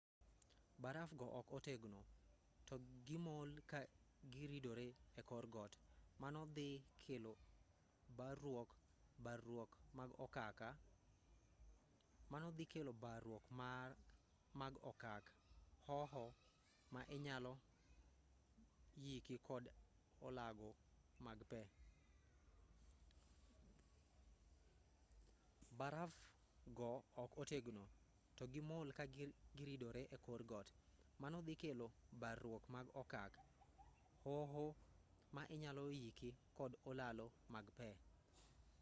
baraf go ok otegno to gimol ka giridore e kor got mano dhi kelo barruok mag okak hoho ma inyalo yiki kod olalo mag pe